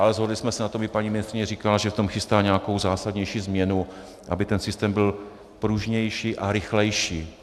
Ale shodli jsme se na tom, i paní ministryně říkala, že v tom chystá nějakou zásadnější změnu, aby ten systém byl pružnější a rychlejší.